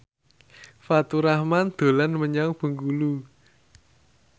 Faturrahman dolan menyang Bengkulu